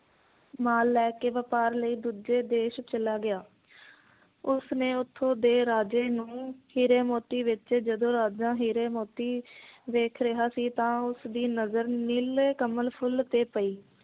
ਮਾਲ ਲੈ ਕੇ ਵਪਾਰ ਲਈ ਦੂੱਜੇ ਦੇਸ਼ ਚਲਾ ਗਿਆ ਉਸਨੇ ਉੱਥੋਂ ਦੇ ਰਾਜੇ ਨੂੰ ਹੀਰੇ ਮੋਤੀ ਵੇਚੇ ਜਦੋਂ ਰਾਜਾ ਹੀਰੇ ਮੋਤੀ ਵੇਖ ਰਿਹਾ ਸੀ ਤਾਂ ਉਸ ਦੀ ਨਜ਼ਰ ਨੀਲੇ ਕਮਲ ਫੁਲ ਤੇ ਪਈ